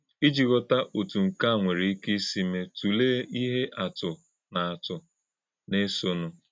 Íjì ghòtá̄ òtú̄ nkè à nwere íké ísì mè̄, tụ̀lèè̄ íhè̄ àtụ̀ na àtụ̀ na - èsọ̀nụ̄.